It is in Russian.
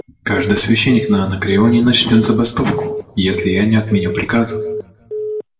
каждый священник на анакреоне начнёт забастовку если я не отменю приказа